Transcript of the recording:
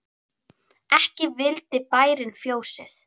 Ekki vildi bærinn fjósið.